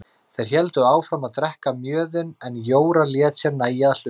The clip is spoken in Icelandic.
Þeir héldu áfram að drekka mjöðinn en Jóra lét sér nægja að hlusta.